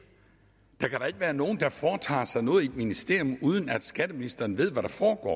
der kan da ikke være nogen der foretager sig noget i et ministerium uden at skatteministeren ved hvad der foregår